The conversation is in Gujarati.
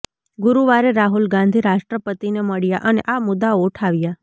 ગુરુવારે રાહુલ ગાંધી રાષ્ટ્રપતિને મળ્યા અને આ મુદ્દાઓ ઉઠાવ્યા